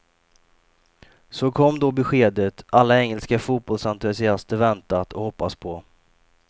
Så kom då beskedet alla engelska fotbollsentusiaster väntat och hoppats på.